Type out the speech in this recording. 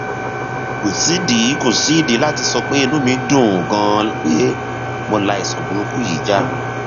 kò sídìí kò sídìí láti sọ pé inú mi dùn ganan pé mo la àìsàn burúkú yìí já